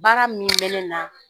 Baara min bɛ ne na